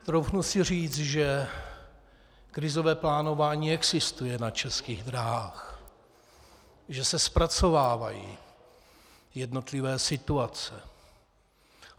Troufnu si říct, že krizové plánování existuje na Českých dráhách, že se zpracovávají jednotlivé situace.